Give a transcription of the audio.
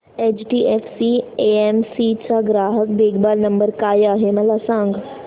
HDFC AMC चा ग्राहक देखभाल नंबर काय आहे मला सांग